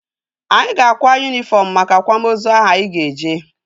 Anyị ga-akwa yunifọm maka akwamozu ahụ anyị ga-eje